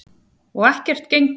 Og ekkert gengur.